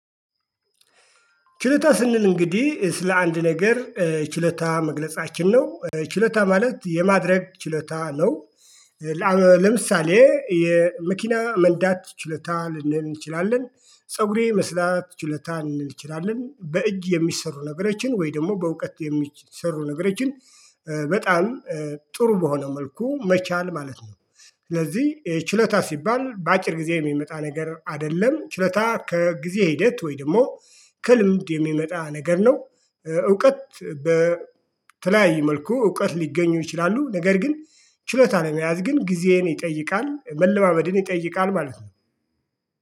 ችሎታ ስንል እንግዲህ ስለ አንድ ነገር ችሎታ መግለጻችን ነው ችሎታ ማለት የማድረግ ችሎታ ነው። ለምሳሌ የመኪና መንዳት ችሎታ ልንል ልንችላለን ፀጉሬ የመስራት ችሎታ ልንል እንችላለን በእጅ የሚሰሩ ነገሮችን ወይ ደግሞ በእውቀት የሚሰሩ ነገሮችን። በጣም ጥሩ በሆነ መልኩ መቻል ማለት ነው። ስለዚህ ችሎታ ሲባል በአጭር ጊዜ የሚመጣ ነገር አይደለም ችሎታ ከጊዜ ሂደት ወይ ደግሞ ከልምድ የሚመጣ ነገር ነው። እውቀት በተለያየ መልኩ እውቀት ሊገኝ ይችላል ነገር ግን ችሎታ ለመያዝ ግን ጊዜን ይጠይቃል መለማመድን ይጠይቃል ማለት ነው